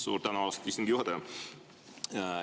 Suur tänu, austatud istungi juhataja!